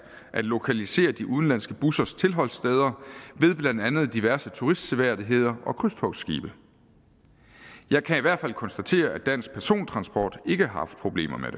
at lokalisere de udenlandske bussers tilholdssteder ved blandt andet diverse turistseværdigheder og krydstogtskibe jeg kan i hvert fald konstatere at dansk persontransport ikke har haft problemer